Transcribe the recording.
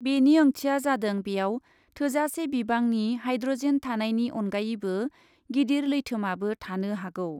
बेनि ओंथिया जादों बेयाव थोजासे बिबांनि हाइड्रजेन थानायनि अनगायैबो गिदिर लैथोमाबो थानो हागौ ।